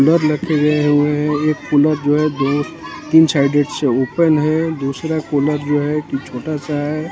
cooler रखे गए हुए हैं एक कूलर जो है दो तीन साइडेड से ओपन है दूसरा कूलर जो है कि छोटा सा है--